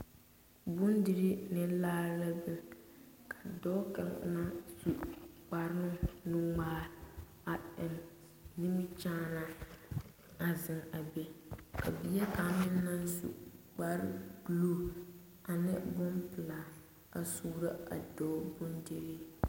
Bondirii ne laa la biŋ ka dɔɔ kaŋ naŋ su kpare nuŋmaa a eŋ nimikyaana a zeŋ a be ka bie kaŋ meŋ naŋ su kpare buluu ane bompelaa a suuro a dɔɔ bondirii.